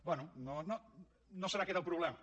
bé no serà aquest el problema